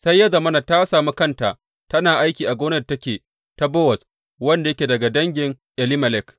Sai ya zamana, ta sami kanta tana aiki a gonar da take ta Bowaz, wanda yake daga dangin Elimelek.